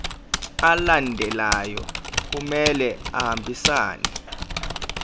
alandelayo kumele ahambisane